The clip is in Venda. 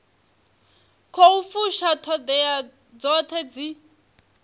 khou fusha ṱhoḓea dzoṱhe dzi